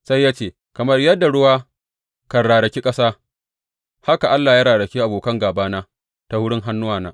Sai ya ce, Kamar yadda ruwa kan raraki ƙasa, haka Allah ya raraki abokan gābana ta wurin hannuna.